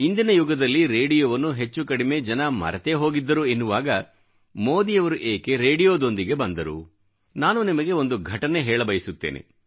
ಇಂದಿನ ಯುಗದಲ್ಲಿ ರೇಡಿಯೋವನ್ನು ಹೆಚ್ಚು ಕಡಿಮೆ ಜನ ಮರೆತೇ ಹೋಗಿದ್ದರು ಎನ್ನುವಾಗ ಮೋದಿಯವರು ಏಕೆ ರೇಡಿಯೋದೊಂದಿಗೆ ಬಂದರು ನಾನು ನಿಮಗೆ ಒಂದು ಘಟನೆ ಬಗ್ಗೆ ಹೇಳಬಯಸುತ್ತೇನೆ